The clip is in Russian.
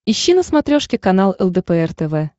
ищи на смотрешке канал лдпр тв